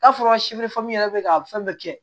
N'a fɔra yɛrɛ bɛ ka fɛn bɛɛ kɛ